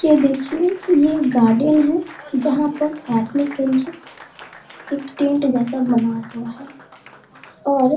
ये देखिये ये एक गार्डन है जहाँ पर बैठने के लिए एक टेंट जैसा बना हुआ है। और --